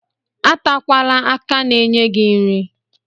Atakwala aka na-enye gị nri.